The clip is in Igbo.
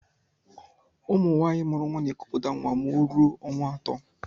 Ụmụ nwanyị mụrụ nwa n'ekuputa nwa ma o rụọ ọnwa atọ.